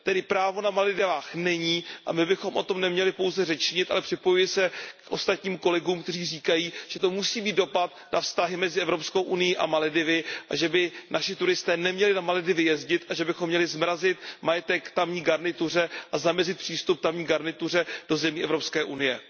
Tedy právo na Maledivách není a my bychom o tom neměli pouze řečnit, ale připojuji se k ostatních kolegům, kteří říkají, že to musí mít dopad na vztahy mezi Evropskou unií a Maledivy a že by naši turisté neměli na Maledivy jezdit a že bychom měli zmrazit majetek tamní garnituře a zamezit přístup tamní garnituře do zemí Evropské unie.